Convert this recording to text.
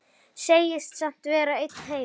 Segist samt vera einn heima.